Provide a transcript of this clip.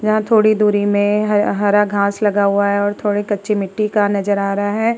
यहाँ थोड़ी दूरी में हरा घास लगा हुआ है और थोड़ी कच्ची मिट्टी का नज़र आ रहा है।